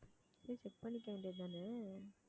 போயி check பண்ணிக்க வேண்டியதுதானே